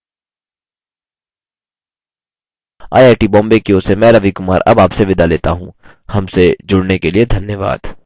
I I T Bombay की ओर से मैं रवि कुमार अब आपसे विदा लेता हूँ हमसे जुड़ने के लिए धन्यवाद